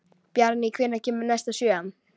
Bjarný, hvenær kemur sjöan?